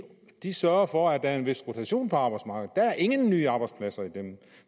de sørger for at der er en vis rotation på arbejdsmarkedet der er ingen nye arbejdspladser i dem